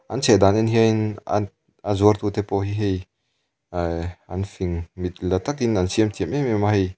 an chheh dan en hianin an a a zuar tu te pawh hi hei ee an fing mit la takin an siam thiam em em a hei--